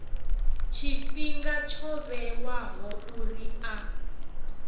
tshifhinga tsho vhewaho uri a